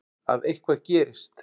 Að eitthvað gerist.